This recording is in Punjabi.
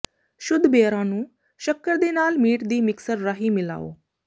ਸ਼ੁੱਧ ਬੇਅਰਾਂ ਨੂੰ ਸ਼ੱਕਰ ਦੇ ਨਾਲ ਮੀਟ ਦੀ ਮਿਕਸਰ ਰਾਹੀਂ ਮਿਲਾਓ